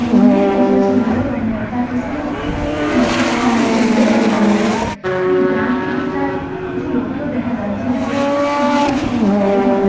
মন্দিরে এসেছেন বলেও মনে হয় তার পেছনে একটি বড় পাহাড় আছে বলেও মনে হয় আমার এই ডান দিকে তার কিছু লোক কেউ দেখা যাচ্ছে জায়গাটা খুব সুন্দর এবং খুব বড় বলে মনে হ--